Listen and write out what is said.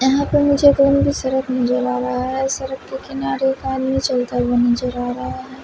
यहाँ पर मुझे ओनली सड़क नजर आ रहा है सड़क के किनारे एक आदमी चलता हुआ नज़र आ रहा है।